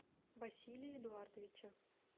василия эдуардовича